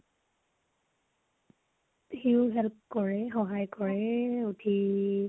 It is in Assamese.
সিও help কৰে । সহায় কৰে উঠি ।